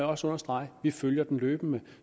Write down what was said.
også understreget at vi følger den løbende